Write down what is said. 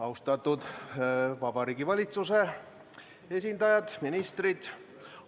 Austatud Vabariigi Valitsuse esindajad, ministrid!